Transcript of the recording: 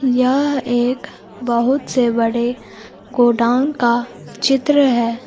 यह एक बहुत से बड़े गोडाउन का चित्र है।